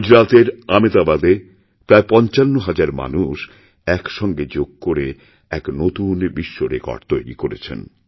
গুজরাতের আমেদাবাদে প্রায় পঞ্চান্ন হাজার মানুষ একসঙ্গে যোগ করে একনতুন বিশ্বরেকর্ড তৈরি করেছেন